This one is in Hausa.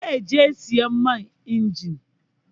Zan je sayar man injin.